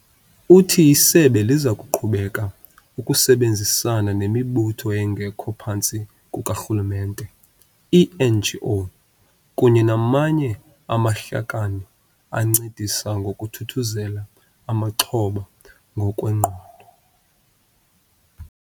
Uthi isebe liza kuqhubeka ukusebenzisana nemibutho engekho phantsi kukarhululemente, ii-NGO, kunye namanye amahlakani ancedisa ngokuthuthuzela amaxhoba ngokwengqondo.